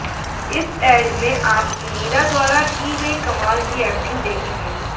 इस ऐड में आप मीरा द्वारा की गई कमाल की एक्टिंग देखेंगे